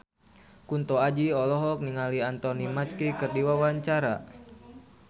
Kunto Aji olohok ningali Anthony Mackie keur diwawancara